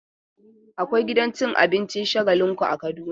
Akwai gidan cin abincin Shagalinku a Kaduna.